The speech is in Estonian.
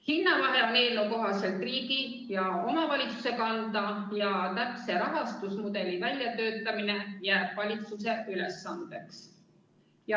Hinnavahe on eelnõu kohaselt riigi ja omavalitsuse kanda, täpse rahastusmudeli väljatöötamine jääb valitsuse ülesandeks.